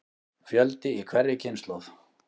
Fjöldi í hverri kynslóð.